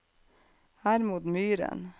Hermod Myhren